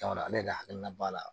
Sabula ale de hakilina b'a la